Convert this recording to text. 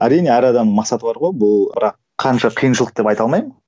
әрине әр адам мақсаты бар ғой бұл қанша қиыншылық деп айта алмаймын